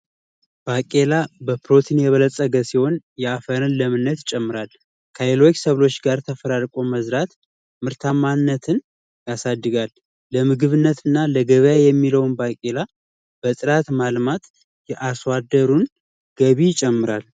ባቄላ በፕሮቲን የበለፀገ ሲሆን የአፋርን ለምነት ይጨምራል። ከሌሎች ሰብሎች ጋር ተፈራርቆ መዝራት ምርታማነትን ያሳድጋል። ለምግብነት እና ለገበያ የሚውለውን ባቄላ በጥራት ማልማት የአርሶ አደሩን ገቢ ይጨምራል።